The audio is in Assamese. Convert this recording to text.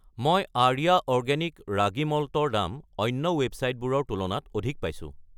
মই আৰ্য অৰ্গেনিক ৰাগী মল্ট ৰ দাম অন্য ৱেবচাইটবোৰৰ তুলনাত অধিক পাইছোঁ।